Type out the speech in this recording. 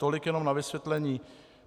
Tolik jenom na vysvětlení.